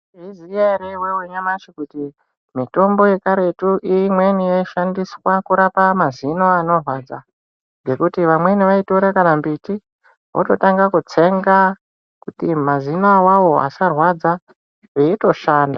Unoziya ere iwewe nyamashi kuti mitombo yekaretu imweni yaishandiswa kurapa mazino anorwadza ngekuti vamweni vaitora akana mbiti vototanga kutsenga kuti mazino awawo asarwadza veitoshanda.